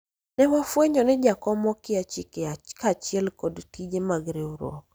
ne wafwenyo ni jakom okia chike kaachiel kod tije mag riwruok